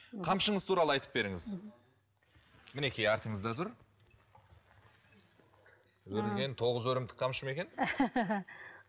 қамшыңыз туралы айтып беріңіз мінекей артыңызда тұр өрілген тоғыз өрімдік қамшы ма екен